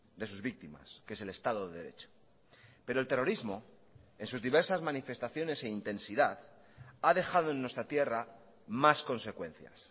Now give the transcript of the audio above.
de sus víctimas que es el estado de derecho pero el terrorismo en sus diversas manifestaciones e intensidad ha dejado en nuestra tierra más consecuencias